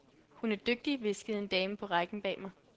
Hun er dygtig, hviskede en dame på rækken bag mig.